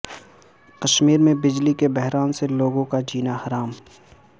کشمیر میں بجلی کے بحران سے لوگوں کا جینا حرام